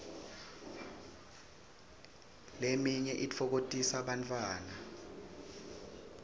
leminye itfokotisa bantfwana